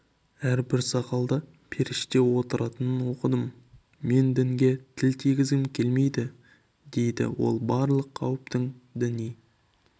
әрбір сақалда періште отыратынын оқыдым мен дінге тіл тигізгім келмейді дейді ол барлық қауіптің діни